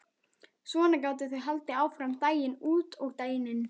Svona gátu þau haldið áfram daginn út og daginn inn.